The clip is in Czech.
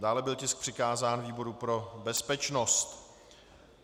Dále byl tisk přikázán výboru pro bezpečnost.